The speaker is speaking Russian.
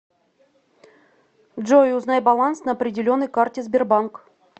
джой узнай баланс на определенной карте сбербанк